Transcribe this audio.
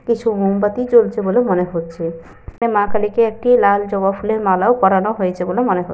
কিছু মোমবাতি জ্বলছে বলে মনে হচ্ছে। এবং মা কালীকে একটি লাল জবা ফুলের মালাও পরানো হয়েছে বলে মনে হচ্ছে।